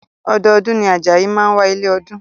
Ọdọọdún ni Ajayi máa ń wá ilé ọdún